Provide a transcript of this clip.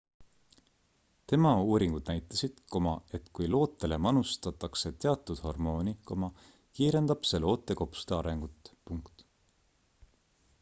tema uuringud näitasid et kui lootele manustatakse teatud hormooni kiirendab see loote kopsude arengut